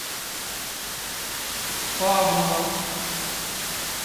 павлово